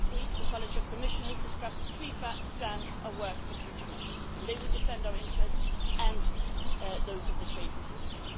Last week, the College of Commissioners discussed three strands of work for future measures that would defend our interests and those of the trading system.